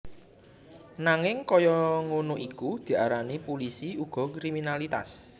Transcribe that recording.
Nanging kaya ngono iku diarani pulisi uga kriminalitas